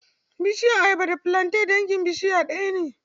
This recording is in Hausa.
Bishiyar ayaba da filanten dangin bishiya ɗaya ne.